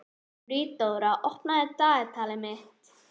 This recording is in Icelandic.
Friðdóra, opnaðu dagatalið mitt.